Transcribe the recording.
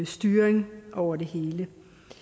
styring over det hele